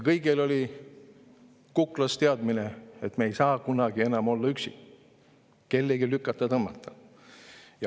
Kõigil oli kuklas teadmine, et me ei saa kunagi enam olla üksi, me ei ole enam kellegi lükata-tõmmata.